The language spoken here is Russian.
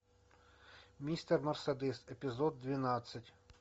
мистер мерседес эпизод двенадцать